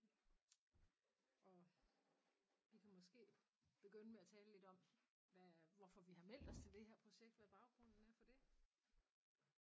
Og vi kan måske begynde med at tale lidt om hvad hvorfor vi har meldt os til det her projekt hvad baggrunden er for det